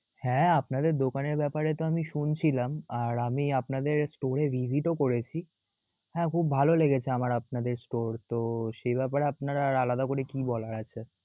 হ্যা আপনাদের দোকানের ব্যাপারে তো আমি শুনছিলাম, আর আমি আপনাদের store এ visit ও করেছি. হ্যা খুব ভালো লেগেছে আমার আপনাদের store তো সেই ব্যাপারে আপনার আর আলাদা করে কি বলার আছে?